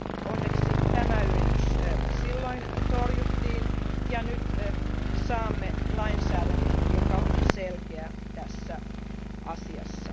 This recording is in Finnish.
Onneksi tämä yritys silloin torjuttiin ja nyt saamme lainsäädännön, joka on selkeä tässä asiassa.